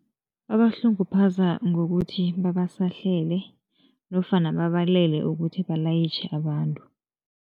Babahlunguphaza ngokuthi babasahlele nofana babalele ukuthi balayitjhe abantu.